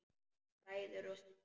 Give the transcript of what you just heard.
Bræður og systur!